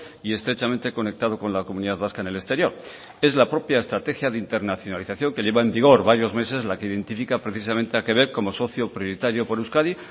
y estrechamente conectado con la comunidad vasca en el exterior es la propia estrategia de internacionalización que lleva en vigor varios meses la que identifica precisamente a quebec como socio prioritario por euskadi